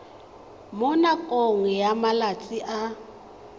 mo nakong ya malatsi a